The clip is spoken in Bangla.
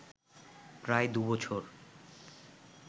প্রায় দুবছর